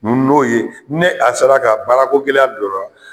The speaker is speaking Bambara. N'o ye ne a sera ka baarakogɛlɛya dɔrɔn